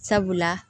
Sabula